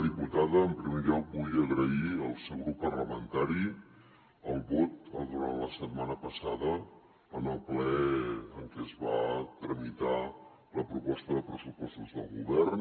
diputada en primer lloc vull agrair al seu grup parlamentari el vot durant la setmana passada en el ple en què es va tramitar la proposta de pressupostos del govern